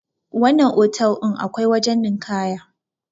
wannan otal din akwai wajen ninkaya